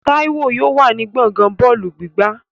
Táíwò yóò wà ní gbọ̀ngán bọ́ọ̀lù gbígbá